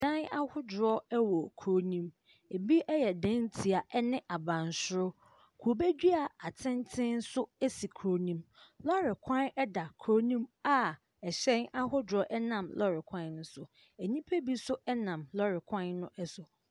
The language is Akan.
Dan ahodoɔ wɔ kuro no mu. Ebi yɛ dantia ne abansoro. Kube dua atenten nso si kuro no mu. Lɔre kwan da kuro no mu a hyɛn ahodoɔ nam lɔre kwan no so. Nnipa bi nso nam lɔre kwan no so.